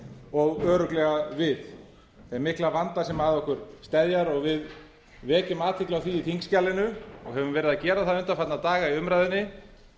og örugglega við þeim mikla vanda sem að okkur steðjar og við vekjum athygli á því í þingskjalinu og höfum verið að gera það undanfarna daga í umræðunni